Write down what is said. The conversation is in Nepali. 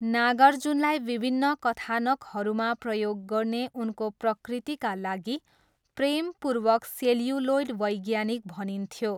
नागार्जुनलाई विभिन्न कथानकहरूमा प्रयोग गर्ने उनको प्रकृतिका लागि प्रेमपूर्वक 'सेल्युलोइड वैज्ञानिक' भनिन्थ्यो।